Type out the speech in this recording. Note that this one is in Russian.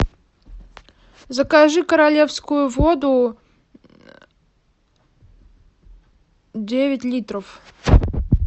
закажи королевскую воду девять литров